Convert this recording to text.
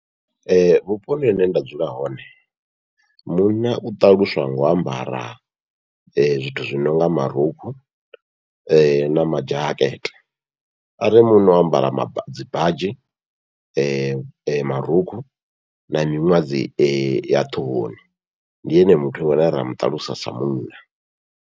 Vhuponi hune nda dzula hone munna u ṱaluswa ngo u ambara zwithu zwi nonga marukhu na madzhakete, arali munna o ambara dzibadzhi, marukhu na miṅwadzi ya ṱhohoni ndi ene muthu ane ra muṱalusa sa munna.